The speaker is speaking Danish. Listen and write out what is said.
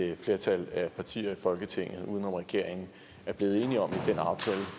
et flertal af partierne i folketinget uden om regeringen er blevet enige om i den aftale